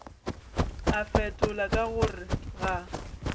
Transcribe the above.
a fetola ka gore ga